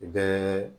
U bɛɛ